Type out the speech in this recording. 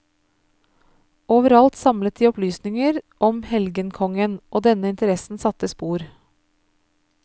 Overalt samlet de opplysninger om helgenkongen, og denne interessen satte spor.